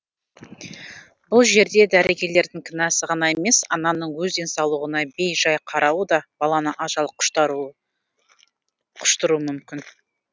бұл жерде дәрігерлердің кінәсі ғана емес ананың өз денсаулығына бей жай қарауы да баланы ажал құштыруы мүмкін